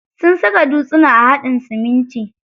Sun saka dutsuna a haɗin siminti.